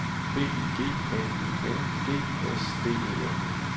B Y G N I N G S D E L